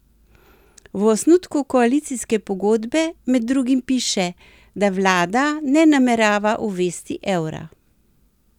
V osnutku koalicijske pogodbe med drugim piše, da vlada ne namerava uvesti evra.